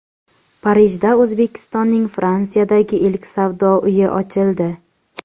Parijda O‘zbekistonning Fransiyadagi ilk savdo uyi ochildi.